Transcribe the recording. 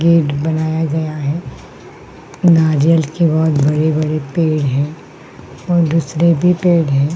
Gate बनाया गया है नारियल के बहोत बड़े-बड़े पेड़ हैं और दूसरे भी पेड़ हैं।